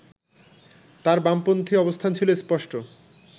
তাঁর বামপন্থী অবস্থান ছিল স্পষ্ট